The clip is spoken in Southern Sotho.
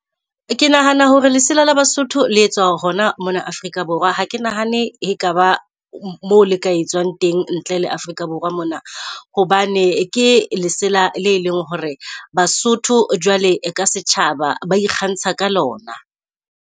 Ke nahana hore lesela le BaSotho le etswa hona mona Afrika Borwa. Ha ke nahane eka ba mo le ka etsuwang teng ntle le Afrika Borwa mona. Hobane ke lesela le leng hore BaSotho jwale ka setjhaba ba ikgantsha ka lona.